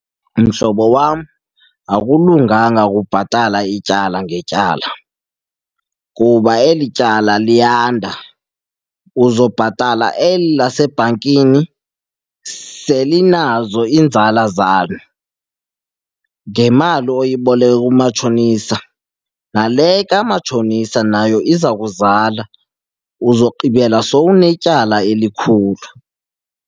Mhlobo wa,m akulunganga ukubhatala ityala ngetyala kuba eli tyala liyanda. Uzobhatala eli lasebhankini selinazo iinzala zalo ngemali oyiboleka kumatshonisa, nale kamatshonisa nayo iza kuzala. Uzogqibela sowunetyala elikhulu.